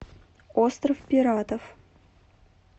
остров пиратов